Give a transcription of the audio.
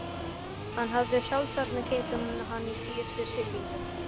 Hann hafði sjálfsagt keypt hann í síðustu siglingu.